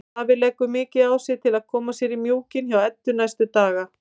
Davíð leggur mikið á sig til að koma sér í mjúkinn hjá Eddu næstu daga.